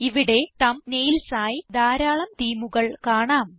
ഇവിടെ തംബ്നെയിൽസ് ആയി ധാരാളം themeകൾ കാണാം